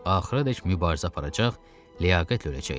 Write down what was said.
Axıradək mübarizə aparacaq, ləyaqətlə öləcəkdi.